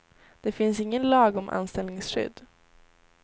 Det finns ingen lag om anställningsskydd.